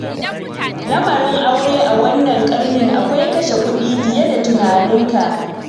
Lamarin aure a wannan ƙarni akwai kashe kuɗi fiye da tunaninka.